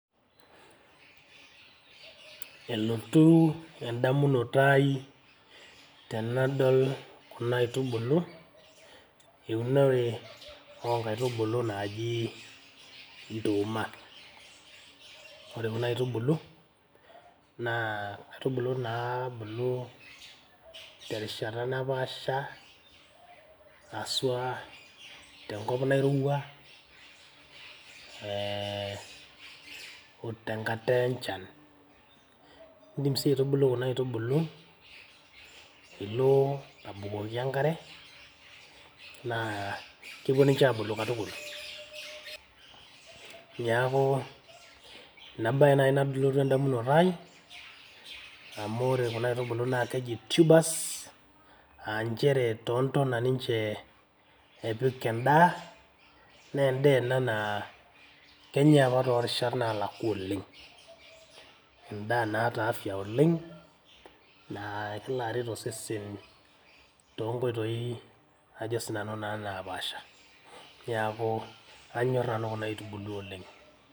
Elotu en`damunoto ai tenadol kuna aitubulu eunore oo nkaitubulu naaji nduuma. Ore kuna aitubulu naa nkaitubulu naabulu te rishata napaasha haswa te nkop nairowua ee o tenkata enchan. Idim sii aitubulu kuna aitubulu ilo abukoki enkare naa kepuo ninche aabulu katukul. Niaku ina baye naaji nalotu en`damunoto ai amu ore kuna aitubulu naa keji tubers aa nchere too ntona ninche epik en`daa. Naa en`daa naa kenyai apa too rishat naalakua oleng. En`daa naata afya oleng naa kelo aret osesen too nkoitoi ajo sinanu naa napaasha. Niaku anyorr nanu kuna aitubulu oleng.